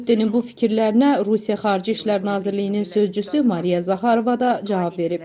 Ruttenin bu fikirlərinə Rusiya Xarici İşlər Nazirliyinin sözçüsü Mariya Zaxarova da cavab verib.